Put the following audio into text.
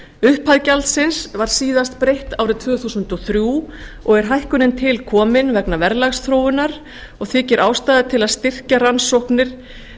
upphæð gjaldsins var síðast breytt árið tvö þúsund og þrjú og er hækkunin tilkomin vegna verðlagsþróunar og þykir ástæða til að styrkja rannsóknir